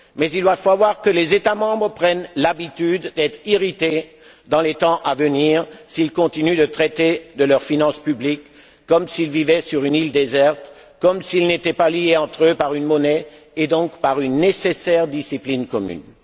Mais il va falloir que les États membres prennent l'habitude d'être irrités dans les temps à venir s'ils continuent de traiter de leurs finances publiques comme s'ils vivaient sur une île déserte, comme s'ils n'étaient pas liés entre eux par une monnaie et donc par une nécessaire discipline commune.